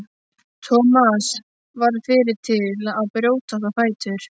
Thomas varð fyrri til að brjótast á fætur.